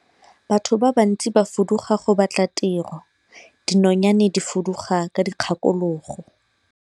Batho ba bantsi ba fuduga go batla tiro, dinonyane di fuduga ka dikgakologo.